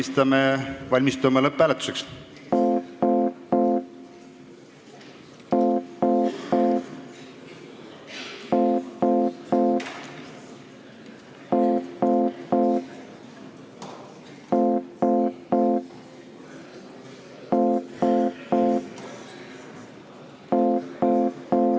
Siis valmistume lõpphääletuseks.